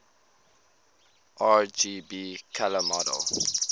rgb color model